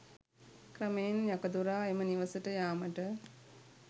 ක්‍රමයෙන් යකදුරා එම නිවසට යාමට